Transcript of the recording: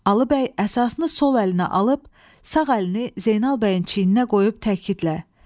Alıbəy əsasını sol əlinə alıb, sağ əlini Zeynal bəyin çiyninə qoyub təkidlə: